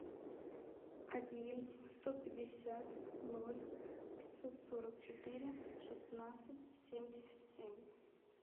один сто пятьдесят ноль пятьсот сорок четыре шестнадцать семьдесят семь